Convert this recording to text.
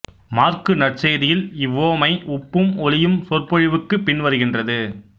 மாற்கு நற்செய்தியில் இவ்வுவமை உப்பும் ஒளியும் சொற்பொழிவுக்கு பின் வருகின்றது